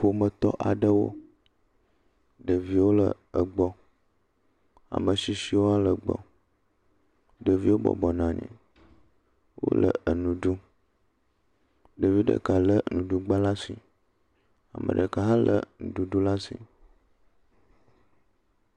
Ƒometɔ aɖewo, ɖeviwo le egbɔ, ame ashishiwo le egbɔ, ɖeviwo bɔbɔ nɔ anyi, ɖevi ɖeka lé nuɖuɖu ɖe asi